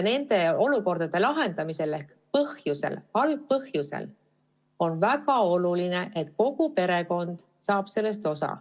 Nende olukordade lahendamisel ja algpõhjuse väljaselgitamisel on väga oluline, et kogu perekond saaks sellest osa.